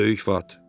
Böyük vat.